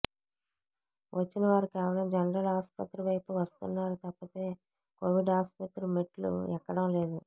వచ్చిన వారు కేవలం జనరల్ ఆసుపత్రి వైపు వస్తున్నారు తప్పితే కొవిడ్ ఆసుపత్రి మెట్లు ఎక్కడం లేదు